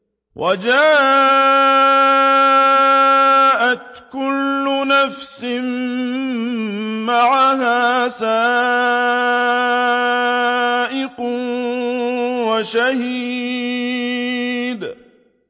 وَجَاءَتْ كُلُّ نَفْسٍ مَّعَهَا سَائِقٌ وَشَهِيدٌ